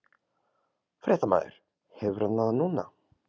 Fréttamaður: Hefur hann það núna?